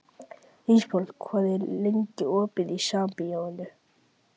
Ísafold, hvað er lengi opið í Sambíóunum?